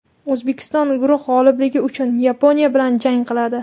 O‘zbekiston guruh g‘olibligi uchun Yaponiya bilan jang qiladi.